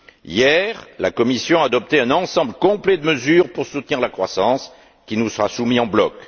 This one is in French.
Hier, la Commission a adopté un ensemble complet de mesures pour soutenir la croissance, qui nous sera soumis en bloc.